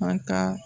An ka